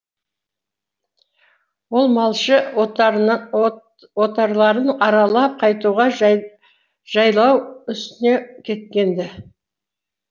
ол малшы отарларын аралап қайтуға жайлау үстіне кеткен ді